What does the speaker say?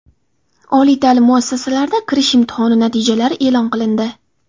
Oliy ta’lim muassasalarida kirish imtihoni natijalari e’lon qilindi.